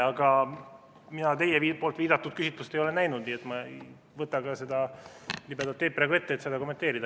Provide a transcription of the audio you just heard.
Aga mina teie viidatud küsitlust ei ole näinud, nii et ma ei võta ka seda libedat teed praegu ette, et seda kommenteerida.